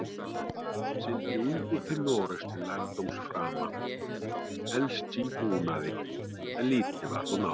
Sigldi ungur til Noregs til lærdómsframa, helst í búnaði, en lítið varð úr námi.